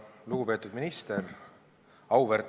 Lugupeetud minister!